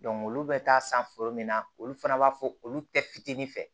olu bɛ taa san foro min na olu fana b'a fɔ olu tɛ fitinin fɛ